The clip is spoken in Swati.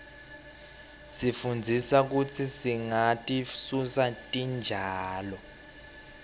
isifundzisa kutsi singatisusi titjalo